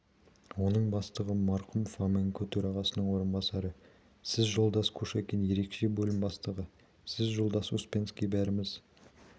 оның бастығы марқұм фоменко төрағасының орынбасары сіз жолдас кушекин ерекше бөлім бастығы сіз жолдас успенскиий бәріміз